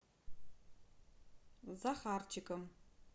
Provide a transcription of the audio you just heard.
захарчиком